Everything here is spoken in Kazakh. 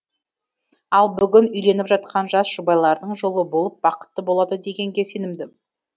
ал бүгін үйленіп жатқан жас жұбайлардың жолы болып бақытты болады дегенге сенімдім